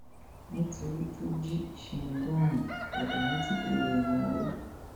nítorí tó jí ṣingọọmù ádámù ti dèrò ẹwọn o